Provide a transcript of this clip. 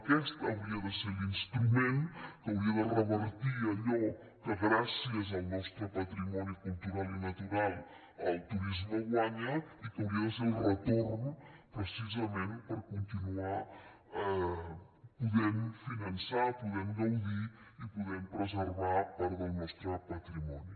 aquest hauria de ser l’instrument que hauria de revertir allò que gràcies al nostre patrimoni cultural i natural el turisme guanya i que hauria de ser el retorn precisament per continuar podent finançar podent gaudir i podent preservar part del nostre patrimoni